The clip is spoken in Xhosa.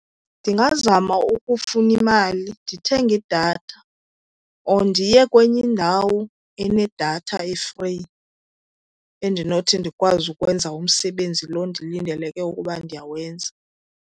Ndingazama ukufuna imali ndithenge idatha or ndiye kwenye indawo enedatha e-free endinothi ndikwazi ukwenza umsebenzi lo ndilindeleke ukuba ndiyawenza.